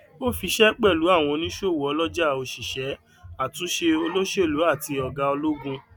ó fiṣe pẹlú àwọn oníṣòwò ọlọjà òṣìṣẹ àtúnṣe olóṣèlú àti ọgá ologun